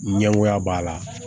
Ɲɛgoya b'a la